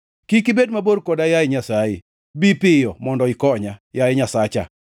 Kik ibed mabor koda, yaye Nyasaye; bi piyo mondo ikonya, yaye Nyasacha.